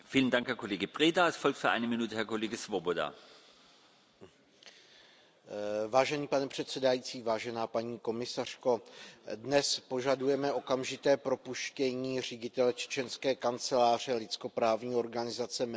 Pane předsedající, paní komisařko, dnes požadujeme okamžité propuštění ředitele čečenské kanceláře lidskoprávní organizace Memoriál Ojuba Titjeva, který je mimo jiné nositelem ceny Václava Havla